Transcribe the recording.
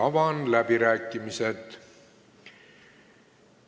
Avan läbirääkimised.